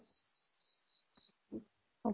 উপায়